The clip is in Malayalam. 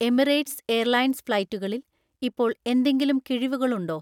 എമിറേറ്റ്സ് എയർലൈൻസ് ഫ്ലൈറ്റുകളിൽ ഇപ്പോൾ എന്തെങ്കിലും കിഴിവുകൾ ഉണ്ടോ?